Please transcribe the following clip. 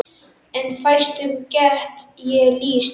En fæstum get ég lýst.